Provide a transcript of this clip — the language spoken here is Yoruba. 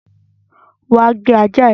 Wá gbé ajá ẹ!